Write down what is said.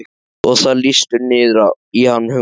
Og það lýstur niður í hann hugmynd